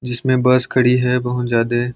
जिसमे बस खड़ी हैं बहुत जादे ।